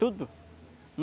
Tudo.